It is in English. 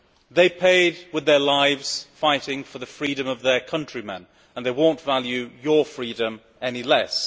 They paid with their lives fighting for the freedom of their countrymen and they will not value your freedom any less.